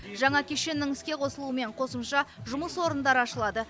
жаңа кешеннің іске қосылуымен қосымша жұмыс орындары ашылады